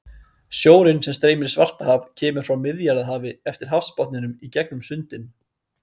Sjórinn sem streymir í Svartahaf kemur frá Miðjarðarhafi eftir hafsbotninum í gegnum sundin.